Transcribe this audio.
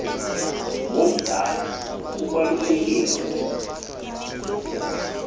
womdala ubaluleke kakhulu